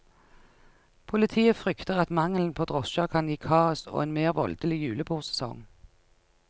Politiet frykter at mangelen på drosjer kan gi kaos og en mer voldelig julebordsesong.